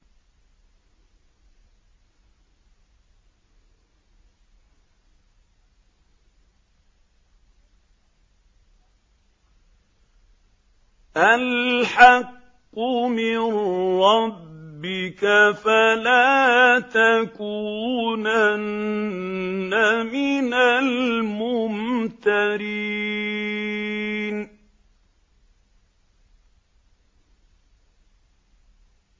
الْحَقُّ مِن رَّبِّكَ ۖ فَلَا تَكُونَنَّ مِنَ الْمُمْتَرِينَ